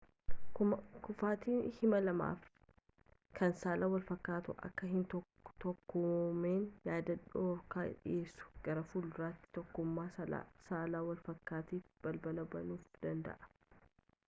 kufaatiin hima lamaffaa kan saalli wal fakkaatan akka hin tokkoomnee yaada dhorku dhiyeessu gara fuulduraatti tokkummaa saala walfakkiitiif balbala banuufi danda'a